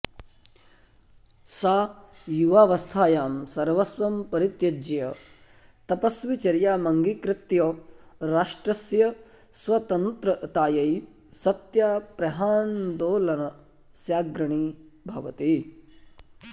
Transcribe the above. सा युवावस्थायां सर्वस्वं परित्यज्य तपस्विचर्यामङ्गीकृत्य राष्ट्रस्य स्वतन्त्रतायै सत्याप्रहान्दोलनस्याग्रणीः भवति